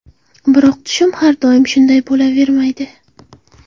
Biroq tushum har doim shunday bo‘lavermaydi.